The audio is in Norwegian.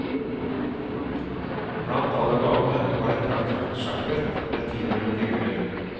Blant alle gavene var et praktfullt sjakkbrett med tilhørende figurer.